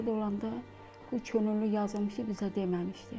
Şəhid olanda o könüllü yazılmışı bizə deməmişdi.